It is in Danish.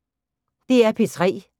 DR P3